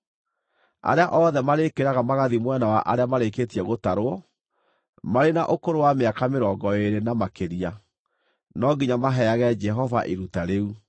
Arĩa othe marĩkĩraga magathiĩ mwena wa arĩa marĩkĩtie gũtarwo, marĩ na ũkũrũ wa mĩaka mĩrongo ĩĩrĩ na makĩria, no nginya maheage Jehova iruta rĩu.